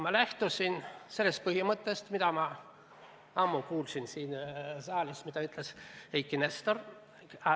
Ma lähtusin põhimõttest, millest kunagi ammu rääkis siin saalis Eiki Nestor.